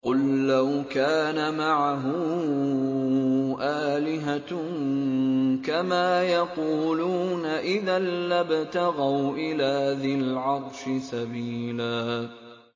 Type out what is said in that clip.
قُل لَّوْ كَانَ مَعَهُ آلِهَةٌ كَمَا يَقُولُونَ إِذًا لَّابْتَغَوْا إِلَىٰ ذِي الْعَرْشِ سَبِيلًا